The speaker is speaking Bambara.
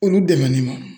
Olu dɛmɛ ni